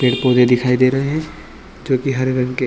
पेड़-पौधे दिखाई दे रहे है जो की हरे रंग के--